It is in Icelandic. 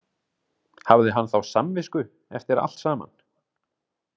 Hafði hann þá samvisku eftir allt saman?